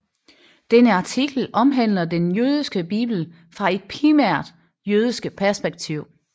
Denne artikel omhandler den jødiske bibel fra et primært jødisk perspektiv